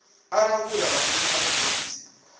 u langula maimo a vhugudisi